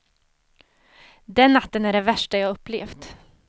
Den natten är den värsta jag upplevt.